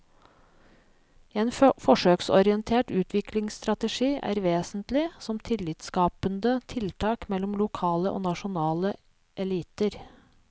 En forsøksorientert utviklingsstrategi er vesentlig som tillitsskapende tiltak mellom lokale og nasjonale eliter.